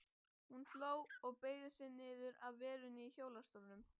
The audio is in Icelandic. Hún hló og beygði sig niður að verunni í hjólastólnum.